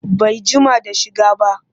Bai jima da shiga ba